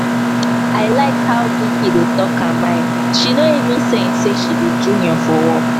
i like how vicki dey talk her mind she no even send say she be junior for work